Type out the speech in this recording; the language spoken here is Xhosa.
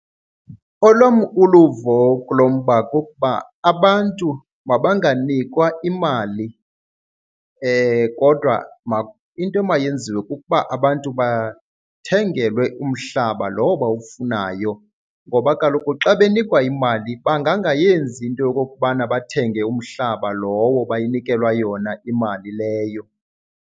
Olwam uluvo kulo mba kukuba abantu mabanganikwa imali kodwa into emayenziwe kukuba abantu bathengelwe umhlaba lowo bawufunayo. Ngoba kaloku xa benikwa imali bangangayenzi into yokokubana bathenge umhlaba lowo bayinikelwa yona imali leyo.